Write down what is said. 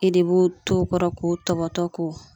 E de b'o t'o kɔrɔ k'o tɔbɔtɔ k'o